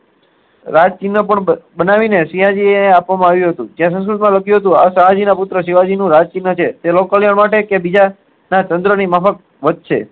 રાજચિહ્ન પણ બનાવી ને શિવાજી એ બનાવી આપ્યું હતુ લખ્યું હતું આ શાહ જી ના પુત્ર શિવાજી નું રાજ ચિહ્ન છે જે લોક કલ્યાણ માટે કે બીજા તંત્ર ની માર્ફ્ક વધ શે